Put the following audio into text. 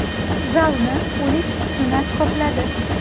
Zalni o‘lik sukunat qopladi.